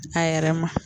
A yɛrɛ ma